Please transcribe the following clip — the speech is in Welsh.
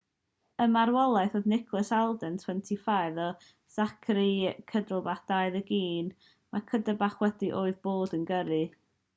y marwolaethau oedd nicholas alden 25 a zachary cuddeback 21 cuddeback oedd wedi bod yn gyrru